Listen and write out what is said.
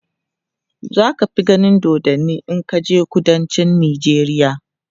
zaka fi ganin dodanni in kaje kudancin nijeriya